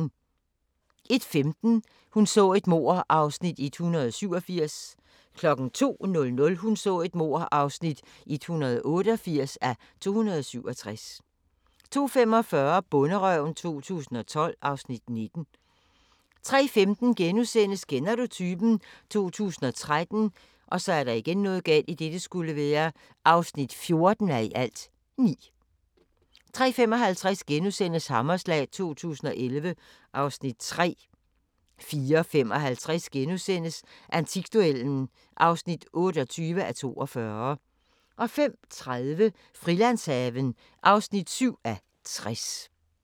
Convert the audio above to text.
01:15: Hun så et mord (187:267) 02:00: Hun så et mord (188:267) 02:45: Bonderøven 2012 (Afs. 19) 03:15: Kender du typen? 2013 (14:9)* 03:55: Hammerslag 2011 (Afs. 3)* 04:55: Antikduellen (28:42)* 05:30: Frilandshaven (7:60)